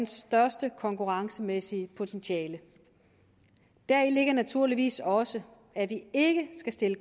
største konkurrencemæssige potentiale deri ligger naturligvis også at vi ikke skal stille